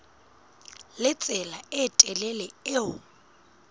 le tsela e telele eo